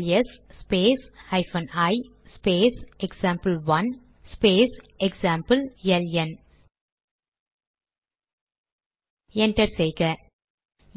LS space hyphen I space example one space example LN enter செய்க